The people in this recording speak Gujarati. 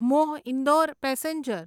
મ્હો ઇન્દોર પેસેન્જર